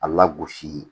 A lagosi